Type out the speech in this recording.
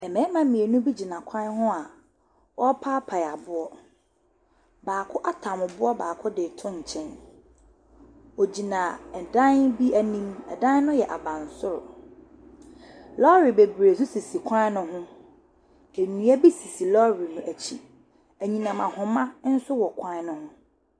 Mmarima mmienu bi gyina kwan ho a wɔrepaepae aboɔ. Baako atam boɔ baako de reto nkyɛn. Ɔgyina dan bi anim. Dan no yɛ abansoro. Lɔre bebree nso sisi kwan no ho. Nnua bi sisi lɔre no akyi. Anyinam ahoma nso wɔ kwan no ho.